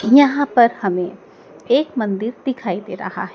यहां पर हमें एक मंदिर दिखाई दे रहा हैं।